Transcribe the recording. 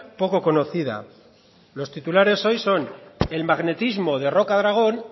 poco conocida los titulares hoy son el magnetismo de rocadragón